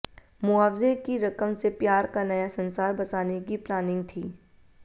मुआवजे की रकम से प्यार का नया संसार बसाने की प्लानिंग थी